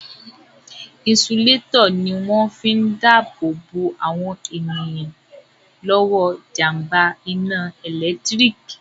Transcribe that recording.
Inisulétọ̀ ní wọ́n fi n dá ààbò bo àwọn èèyàn lọ́wọ́ jàmbá iná ẹ̀lẹ́tírík